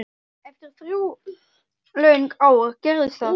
Eftir þrjú löng ár gerðist það.